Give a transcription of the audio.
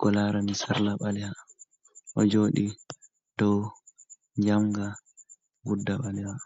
ko laarani sarla ɓaleeha o jooɗi dow jamnga ngudda ɓaleeha.